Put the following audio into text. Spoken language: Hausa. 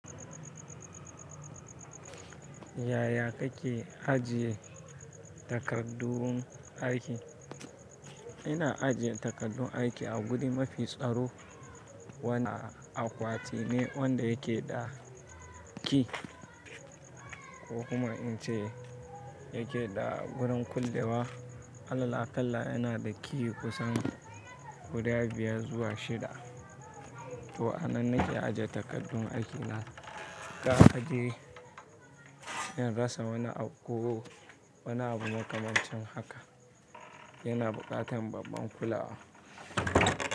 Yaya kake ajiye takaddun aiki? Ina ajiye takardun aiki aguri mafi staro wanda akwatine wanda yakeda key ko kuma ince yakeda gurin kulle wa alal aƙalla yana da key kusan guda biyar zuwa shida. To a nan nake aje takardun aiki na. Ka ajiye, in rasa wani abu ko wani abu makamancin haka yana buƙatar babban kulawa.